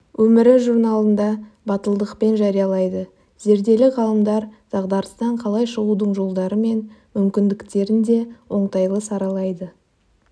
өмірі журналында батылдықпен жариялайды зерделі ғалымдар дағдарыстан қалай шығудың жолдары мен мүмкіндіктерін де оңтайлы саралайды